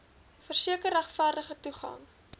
verseker regverdige toegang